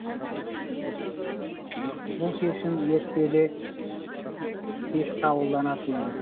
бұл шешім ертелі кеш қабылданатын еді